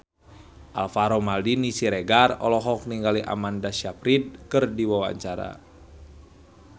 Alvaro Maldini Siregar olohok ningali Amanda Sayfried keur diwawancara